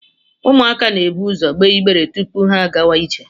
Ụmụaka na-eburu ụzọ gbee igbere tupu ha agawa ije